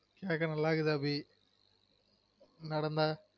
கேக்க நல்லா இருக்குது அபி நடந்தா